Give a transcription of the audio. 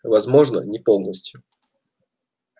возможно не полностью